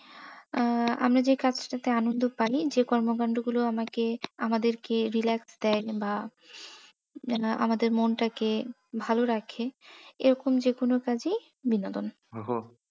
আহ আমি যে কাজটাতে আনন্দ পাই, যে কর্ম কান্ড গুলো আমাকে আমাদের কে relax দেয় বা আমাদের মন টাকে ভালো রাখে এরকম যে কোনো কাজই বিনোদন। ওহ